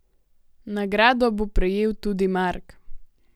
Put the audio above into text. Nagrado bo prejel tudi Mark!